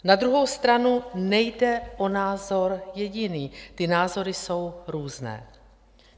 Na druhou stranu nejde o názor jediný, ty názory jsou různé.